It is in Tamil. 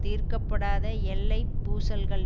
தீர்க்க படாத எல்லை பூசல்கள்